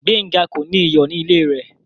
Gbẹnga kò ní iyọ̀ ní ilẹ̀ rẹ.